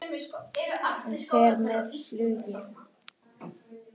Hann fer með flugi.